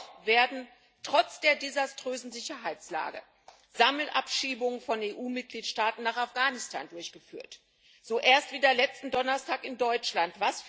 Und dennoch werden trotz der desaströsen Sicherheitslage Sammelabschiebungen von EU Mitgliedstaaten nach Afghanistan durchgeführt, so erst wieder letzten Donnerstag in Deutschland.